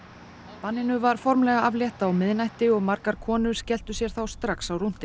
banninu var formlega aflétt á miðnætti og margar konur skelltu sér þá strax á rúntinn